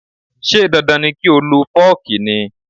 Ṣé dandan ni kí o lo fooki ni?